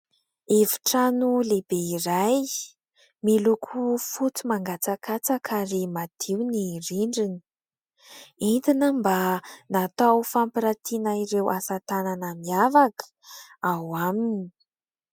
Efitrano lehibe iray izay miloko fotsy mangatsakatsaka ary madio ny rindrina. Entina mba natao fampirantiana ireo asa tanana miavaka, ao aminy.